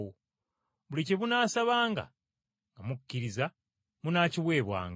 Buli kye munaasabanga nga mukkiriza, munaakiweebwanga.”